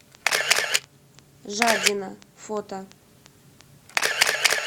жадина фото